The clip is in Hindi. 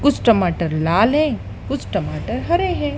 कुछ टमाटर लाल हैं कुछ टमाटर हरे हैं।